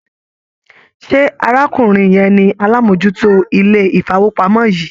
Ṣé arákùnrin yẹn ni alámòójútó ilé-ìfowópamọ́ yìí?